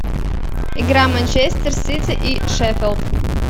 игра манчестер сити и шеффилд